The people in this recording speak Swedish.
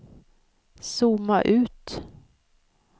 zooma ut